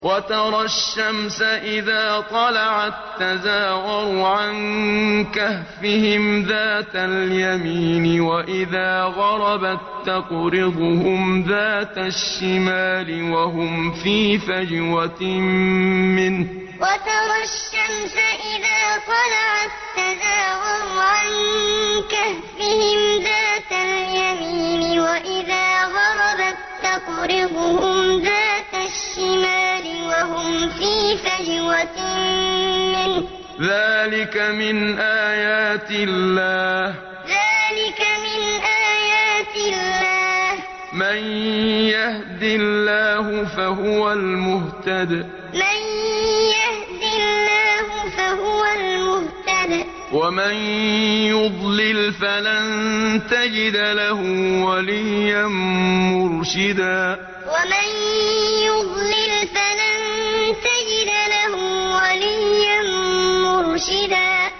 ۞ وَتَرَى الشَّمْسَ إِذَا طَلَعَت تَّزَاوَرُ عَن كَهْفِهِمْ ذَاتَ الْيَمِينِ وَإِذَا غَرَبَت تَّقْرِضُهُمْ ذَاتَ الشِّمَالِ وَهُمْ فِي فَجْوَةٍ مِّنْهُ ۚ ذَٰلِكَ مِنْ آيَاتِ اللَّهِ ۗ مَن يَهْدِ اللَّهُ فَهُوَ الْمُهْتَدِ ۖ وَمَن يُضْلِلْ فَلَن تَجِدَ لَهُ وَلِيًّا مُّرْشِدًا ۞ وَتَرَى الشَّمْسَ إِذَا طَلَعَت تَّزَاوَرُ عَن كَهْفِهِمْ ذَاتَ الْيَمِينِ وَإِذَا غَرَبَت تَّقْرِضُهُمْ ذَاتَ الشِّمَالِ وَهُمْ فِي فَجْوَةٍ مِّنْهُ ۚ ذَٰلِكَ مِنْ آيَاتِ اللَّهِ ۗ مَن يَهْدِ اللَّهُ فَهُوَ الْمُهْتَدِ ۖ وَمَن يُضْلِلْ فَلَن تَجِدَ لَهُ وَلِيًّا مُّرْشِدًا